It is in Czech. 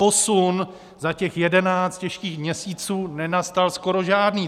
Posun za těch 11 těžkých měsíců nenastal skoro žádný.